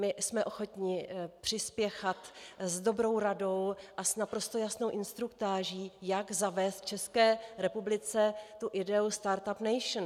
My jsme ochotni přispěchat s dobrou radou a s naprosto jasnou instruktáží, jak zavést v České republice ideu Start-Up Nation.